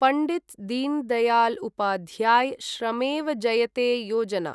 Pandit Deendayal Upadhyay Shramev Jayate Yojana